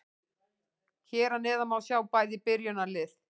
Hér að neðan má sjá bæði byrjunarlið.